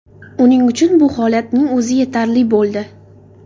Uning uchun bu holatning o‘zi yetarli bo‘ldi.